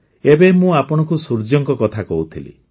ଏବେ ମୁଁ ଆପଣଙ୍କୁ ସୂର୍ଯ୍ୟଙ୍କ କଥା କହୁଥିଲି